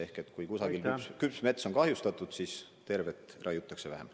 Ehk kui kusagil küps mets on kahjustatud, siis tervet raiutakse vähem.